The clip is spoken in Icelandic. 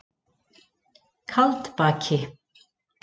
Kaldbaki